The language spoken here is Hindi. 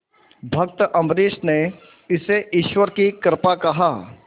भक्त अम्बरीश ने इसे ईश्वर की कृपा कहा